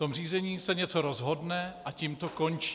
To řízení se něco rozhodne a tím to končí.